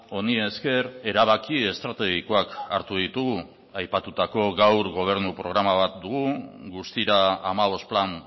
honi esker erabaki estrategikoak hartu ditugu aipatutako gaur gobernu programa bat dugu guztira hamabost plan